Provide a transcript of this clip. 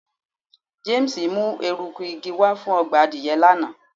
James mu eruku igi wa fun ọgbà adìye lana